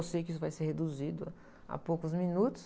Eu sei que isso vai ser reduzido a poucos minutos.